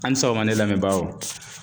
A' ni sɔgɔma ne lamɛbaaw!